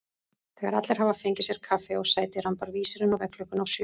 Þegar allir hafa fengið sér kaffi og sæti rambar vísirinn á veggklukkunni á sjö.